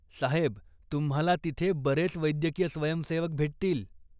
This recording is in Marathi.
साहेब तुम्हाला तिथे बरेच वैद्यकीय स्वयंसेवक भेटतील.